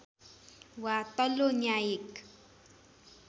वा तल्लो न्यायिक